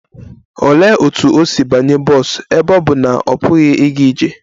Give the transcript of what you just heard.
Olee otú o si banye bọs ebe ọ bụ na ọ pụghị ịga ije?